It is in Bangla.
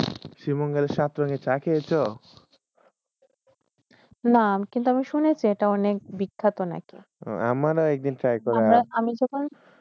শিবমঙ্গলে সাতরঙে চা খায়েশ না, কিন্তু, আমি শুনেছে, এইটা অনেক বিখ্যাত নাকি। আমি যখন